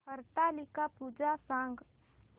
हरतालिका पूजा सांग